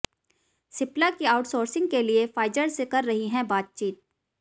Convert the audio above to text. सिप्ला भी आउटसोर्सिंग के लिए फाइजर से कर रही है बातचीत